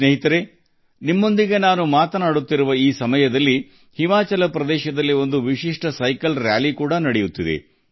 ಸ್ನೇಹಿತರೇ ನಾನು ನಿಮ್ಮೊಂದಿಗೆ ಮಾತನಾಡುತ್ತಿರುವ ಈ ಸಮಯದಲ್ಲಿ ಹಿಮಾಚಲ ಪ್ರದೇಶದಲ್ಲಿ ವಿಶಿಷ್ಟವಾದ ಸೈಕ್ಲಿಂಗ್ ಯಾತ್ರೆ ನಡೆಯುತ್ತಿದೆ